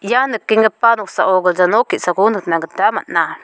ia nikenggipa noksao gilja nok ge·sako nikna gita man·a.